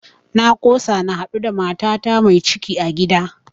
Na kosa na haɗu da matata mai ciki a gida